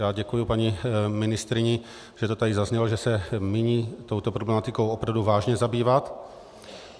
Já děkuji paní ministryni, že to tady zaznělo, že se míní touto problematikou opravdu vážně zabývat.